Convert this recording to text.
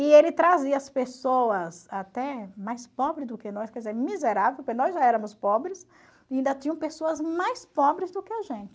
E ele trazia as pessoas até mais pobre do que nós, quer dizer, miserável, porque nós já éramos pobres e ainda tinham pessoas mais pobres do que a gente.